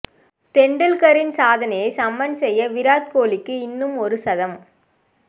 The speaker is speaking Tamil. தெண்டுல்கரின் சாதனையை சமன் செய்ய விராட் கோலிக்கு இன்னும் ஒரு சதம்